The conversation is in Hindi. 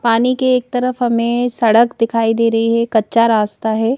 पानी के एक तरफ हमें सड़क दिखाई दे रही है कच्चा रास्ता है।